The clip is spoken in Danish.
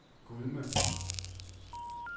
Gudme